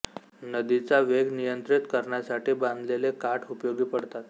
नदीचा वेग नियंत्रित करण्यासाठी बांधलेले काठ उपयोगी पडतात